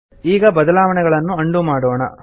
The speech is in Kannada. ಈಗ ಬದಲಾವಣೆಗಳನ್ನು ಅಂಡು ಮಾಡೋಣ